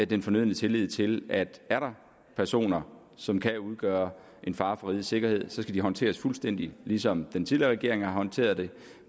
den fornødne tillid til at er der personer som kan udgøre en fare for rigets sikkerhed skal det håndteres fuldstændig ligesom den tidligere regering har håndteret det